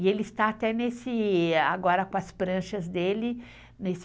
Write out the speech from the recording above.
E ele está até nesse... Agora com as pranchas dele, nesse...